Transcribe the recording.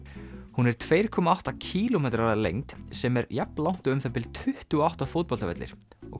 hún er tveimur komma átta kílómetrar að lengd sem er jafn langt og um það bil tuttugu og átta fótboltavellir og